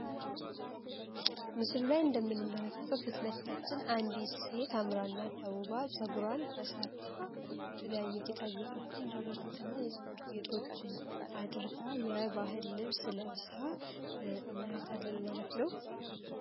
ምስሉ ላይ እንደምትመለከተዉ ፊት ለፊታችን አንዲት ሴት አምራ እና ተዉባ ጸጉሯን ተሰርታ የተለያዩ ጌጣጌጦችን ጀሮ ጌጥ እና የጸጉር ጌጦችን አድርጋ የባህል ልብስ ለብሳ እናያታለን ማለት ነዉ።